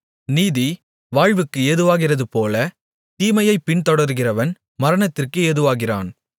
நீதி வாழ்வுக்கு ஏதுவாகிறதுபோல தீமையைப் பின்தொடருகிறவன் மரணத்திற்கு ஏதுவாகிறான்